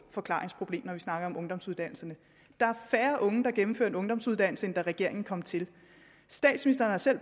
forklaringsproblem når vi snakker om ungdomsuddannelserne der er færre unge der gennemfører en ungdomsuddannelse end da regeringen kom til statsministeren har selv